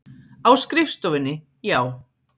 Á skrifstofunni, já.